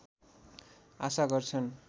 आशा गर्छन्